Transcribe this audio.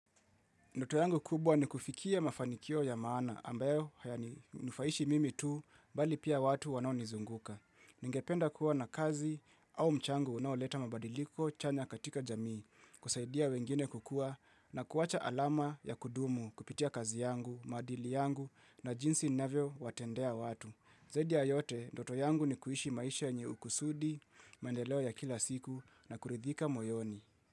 Ndoto yangu kubwa ni kufikia mafanikio ya maana ambayo hayani nufaishi mimi tu bali pia watu wanao nizunguka. Ningependa kuwa na kazi au mchango unaoleta mabadiliko chanya katika jamii kusaidia wengine kukua na kuwacha alama ya kudumu kupitia kazi yangu, madili yangu na jinsi navyo watendea watu. Zaidi ya yote, ndoto yangu ni kuishi maisha nye ukusudi, maendeleo ya kila siku na kuridhika moyoni.